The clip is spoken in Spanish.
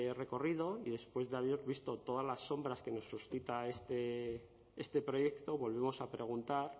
recorrido y después de haber visto todas las sombras que nos suscita este proyecto volvemos a preguntar